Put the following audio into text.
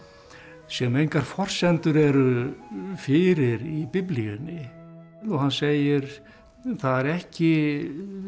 sem engar forsendur eru fyrir í Biblíunni og hann segir það er ekki